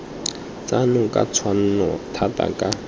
tsona ka tshwanno thata ka